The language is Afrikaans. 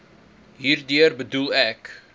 hierdeur bedoel ek